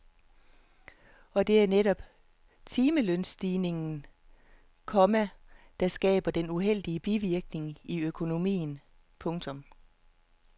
Og det er netop timelønsstigningen, komma der skaber de uheldige bivirkninger i økonomien. punktum